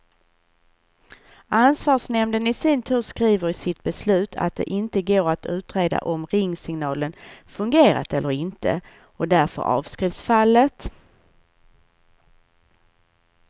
Ansvarsnämnden i sin tur skriver i sitt beslut att det inte går att utreda om ringsignalen fungerat eller inte, och därför avskrivs fallet.